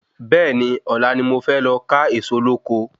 Bẹ́ẹ̀ni, Ọ̀la ni mo fé lọ ká Ẹ̀ẹ̀so lóko